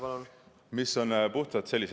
Palun!